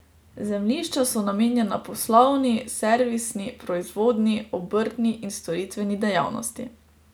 Zemljišča so namenjena poslovni, servisni, proizvodni, obrtni in storitveni dejavnosti.